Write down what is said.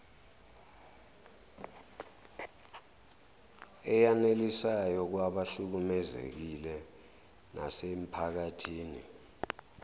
eyanelisayo kwabahlukumezekile nasemiphakathini